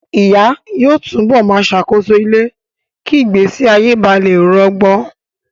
Ìyá yóò tú bọ̀ máa ṣàkóso ilé kí ìgbésí ayé ba lè rọgbọ.